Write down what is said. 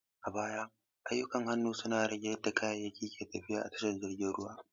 A baya, ayyukan hannu sun rage yadda kayayyaki ke tafiya a tashar jiragen ruwa.